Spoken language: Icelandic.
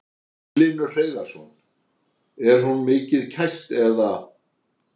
Magnús Hlynur Hreiðarsson: Er hún mikið kæst eða?